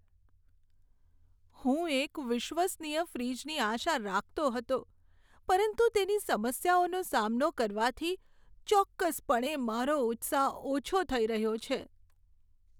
હું એક વિશ્વસનીય ફ્રિજની આશા રાખતો હતો, પરંતુ તેની સમસ્યાઓનો સામનો કરવાથી ચોક્કસપણે મારો ઉત્સાહ ઓછો થઈ રહ્યો છે.